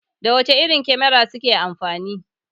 Da wace irin kamera kuke amfani?